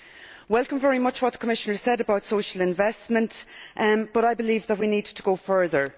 I welcome very much what the Commissioner has said about social investment, but I believe that we need to go further.